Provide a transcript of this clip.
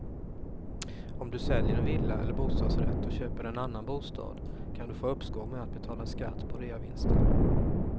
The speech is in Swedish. Om du säljer en villa eller bostadsrätt och köper en annan bostad kan du få uppskov med att betala skatt på reavinsten.